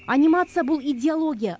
анимация бұл идеология